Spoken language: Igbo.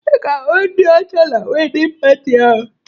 Ị ga-ahụ ndị ọcha na wedịn pati ahụ